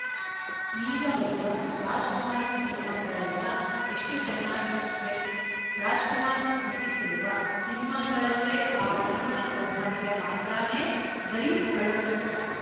ಈಗ ಬರುವ ರಾಜ್‍ಕುಮಾರ್ ಸಿನಿಮಾಗಳೆಲ್ಲಾ ಎಷ್ಟು ಚೆನ್ನಾಗಿರುತ್ವೆ ರಾಜ್‍ಕುಮಾರ್ ನಟಿಸಿರುವ ಸಿನಿಮಾಗಳಲ್ಲೇ ಆ ಪರಿಮಳ ಸೌಭಾಗ್ಯ ಮಾತ್ರಾನೇ ಬರೀ ಅಳುವ ಚಿತ್ರ